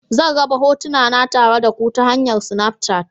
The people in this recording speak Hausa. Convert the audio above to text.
Zan raba hotuna na tare da ku ta hanyar Snafchat.